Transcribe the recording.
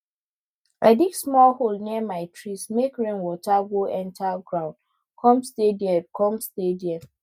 i dig small hole near my trees make rainwater go enter ground come stay there come stay there